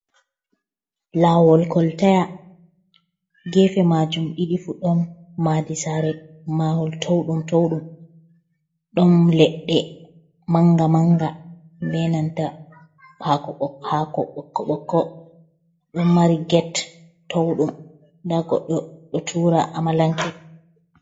Laawol kolta, geefe maajum ɗiɗi fuu ɗum maadi saare, mahol to'uɗum-to'uɗum ɗum leɗɗe, manga-manga be nanta haako ɓokko-ɓokko don mari get, to'uɗum nda goɗɗo ɗo tuura amalanke.